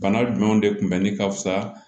Bana jumɛnw de kun bɛ ne ka fisa